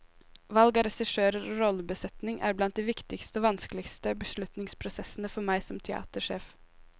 Valg av regissører og rollebesetning er blant de viktigste og vanskeligste beslutningsprosessene for meg som teatersjef.